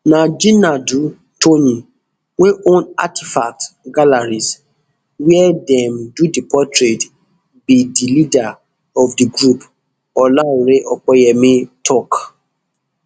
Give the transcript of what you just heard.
na jinadu toyin wey own artifact galleries wia dem do di portrait be di leader of di group olaore opeyemi tok